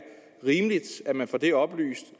rimeligt at man får det oplyst